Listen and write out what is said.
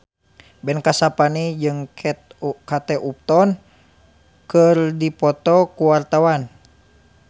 Ben Kasyafani jeung Kate Upton keur dipoto ku wartawan